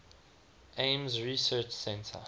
ames research center